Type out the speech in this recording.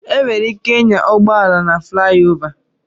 E nwere ike ịnya ụgbọala na flayova.